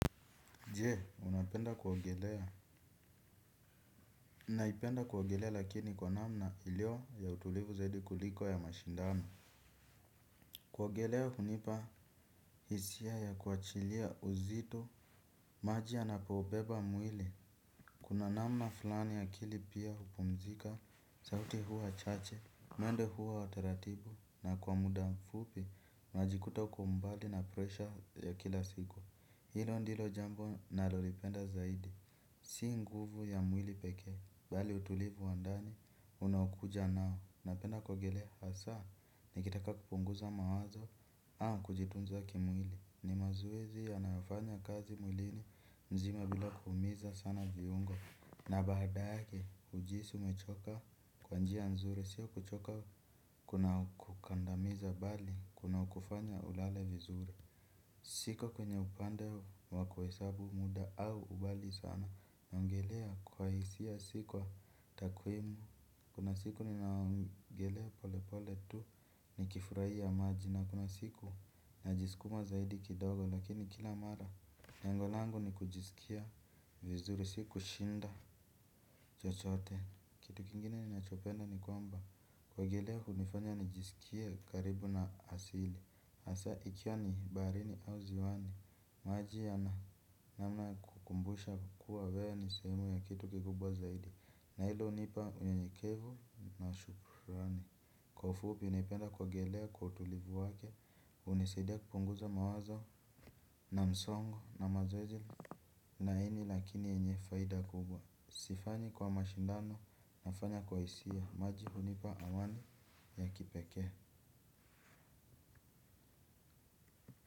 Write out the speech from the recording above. Je, unapenda kuogelea. Naipenda kuogelea lakini kwa namna iliyo ya utulivu zaidi kuliko ya mashindano. Kuogelea hunipa hisia ya kuachilia uzito, maji yanapobeba mwili. Kuna namna fulani ya akili pia hupumzika, sauti huwa chache, mwendo huwa wa taratibu, na kwa muda mfupi, najikuta uko mbali na presha ya kila siku. Hilo ndilo jambo nalolipenda zaidi. Si nguvu ya mwili pekee. Bali utulivu wa ndani, unaokuja nao. Napenda kuogelea hasa nikitaka kupunguza mawazo au kujitunza kimwili. Ni mazoezi yanyofanya kazi mwilini mzima bila kuhumiza sana viungo. Na baada yake, hujihisi umechoka kwa njia nzuri. Sio kuchoka kunakukandamiza bali, kunakufanya ulale vizuri. Siko kwenye upande wa kuhesabu muda au ubali sana. Naongelea kwa hisia si kwa takuimu. Kuna siku ninaogelea pole pole tu nikifurahia maji. Na kuna siku najisukuma zaidi kidogo lakini kila mara nyango langu ni kujisikia vizuri si kushinda chochote. Kitu kingine ninachopenda ni kwamba kuogelea hunifanya nijisikie karibu na asili hasa ikiwa ni baharini au ziwani. Maji yana namna kukumbusha kuwa wewe ni sehemu ya kitu kikubwa zaidi. Na hilo hunipa unyenyekevu na shukrani. Kwa ufupi napenda kuogelea kwa utulivu wake. Hunisaidia kupunguza mawazo na msongo na mawazo. Laini lakini yenye faida kubwa. Sifanyi kwa mashindano nafanya kwa hisia. Maji hunipa amani ya kipekee.